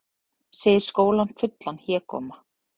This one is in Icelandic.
Segir skólann fullan hégóma